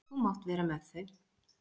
Þú mátt vera með þau.